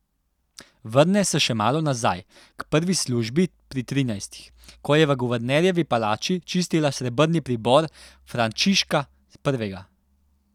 Vrne se še malo nazaj, k prvi službi pri trinajstih, ko je v guvernerjevi palači čistila srebrni pribor Frančiška Prvega.